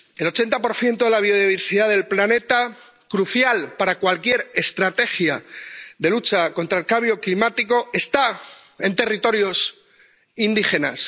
El 80 de la biodiversidad del planeta, crucial para cualquier estrategia de lucha contra el cambio climático, está en territorios indígenas.